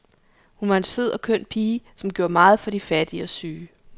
Hun var en sød og køn pige, som gjorde meget for de fattige og syge.